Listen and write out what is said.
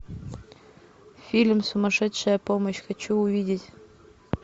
фильм сумасшедшая помощь хочу увидеть